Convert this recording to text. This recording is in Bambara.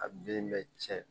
A den bɛ tiɲɛ